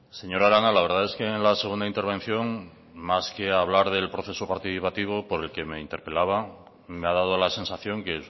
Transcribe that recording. señora arana la verdad es que en la segunda intervención más que hablar del proceso participativo por el que me interpelaba me ha dado la sensación que